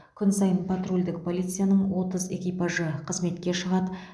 күн сайын патрульдік полицияның отыз экипажы қызметке шығады